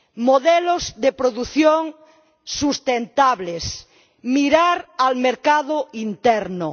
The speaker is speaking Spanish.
modelos de producción sostenibles, mirar al mercado interior.